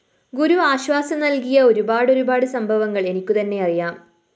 ഗുരു ആശ്വാസം നല്‍കിയ ഒരുപാടൊരുപാട് സംഭവങ്ങള്‍ എനിക്കുതന്നെ അറിയാം